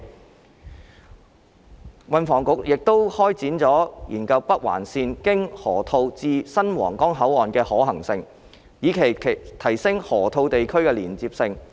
運輸及房屋局亦會開展研究北環綫經河套至新皇崗口岸的可行性，以期提升河套地區的連接性。